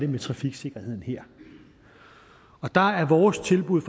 med trafiksikkerheden her der er vores tilbud